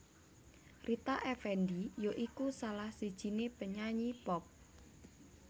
Rita Effendy ya iku salah sijiné penyanyi pop